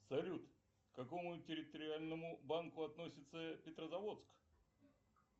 салют к какому территориальному банку относится петрозаводск